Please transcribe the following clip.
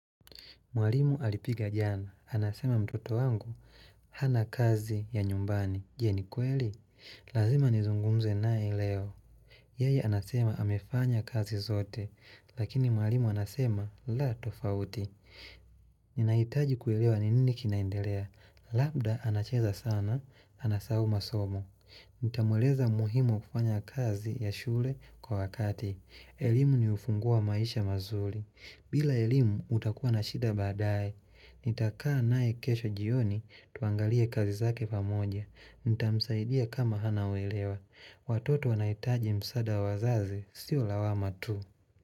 Mwalimu alipiga jana. Anasema mtoto wangu, hana kazi ya nyumbani. Je ni kweli? Lazima nizungumze nae leo. Yaye anasema amefanya kazi zote. Lakini mwalimu anasema, la tofauti. Ninaitaji kuelewa ni nini kinaendelea. Labda anacheza sana, anasahau masomo. Nitamueleza muhimu kufanya kazi ya shule kwa wakati. Elimu ni ufungu wa maisha mazuli. Bila elimu utakuwa na shida baadae, nitakaa nae kesho jioni tuangalie kazi zake pamoja. Nitamsaidia kama hanauwelewa. Watoto wanaitaji msaada wazazi, sio lawama tu.